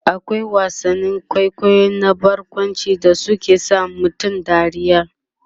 akwai wasannin kwaikwayo na barkwanci da suke sa mutum dariya